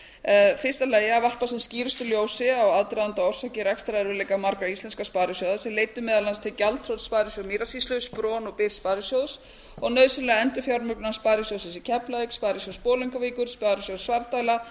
varða falin a varpa sem skýrustu ljósi á aðdraganda og orsakir rekstrarerfiðleika margra íslenskra sparisjóða sem leiddu meðal annars til gjaldþrots sparisjóðs mýrasýslu spron og byrs sparisjóðs og nauðsynlegrar endurfjármögnunar sparisjóðsins í keflavík sparisjóðs bolungarvíkur sparisjóðs svarfdæla